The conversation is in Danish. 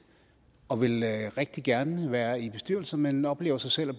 og vil rigtig gerne være i bestyrelse men oplever så selv